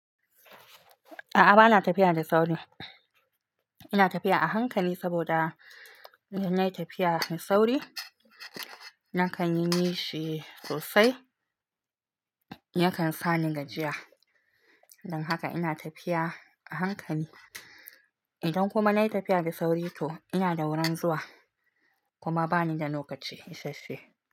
A'a bana tafiya da sauri ina tafiya a hankali saboda idan nayi tafiya da sauri nakan yi nishi sosai. Yakan sa ni gajiya don haka ina tafiya a hankali. Idan kuma nai tafiya da sauri to ina da wurin zuwa kuma bani da lokaci isasa she.